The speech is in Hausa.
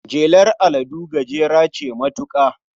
Jelar aladu gajera ce matuka.